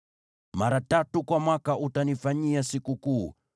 “Mara tatu kwa mwaka utanifanyia sikukuu.